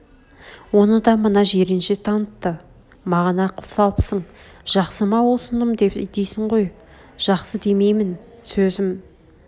оны да мына жиренше танытты маған ақыл салыпсың жақсы ма осыным дейсің ғой жақсы демеймін сөзім